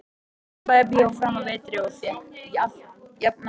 Austurbæjarbíói framanaf vetri og fékk jafnan húsfylli.